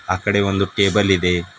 ಆ ಕಡೆ ಒಂದು ಟೇಬಲ್ ಇದೆ.